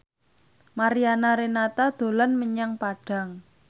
Mariana Renata dolan menyang Padang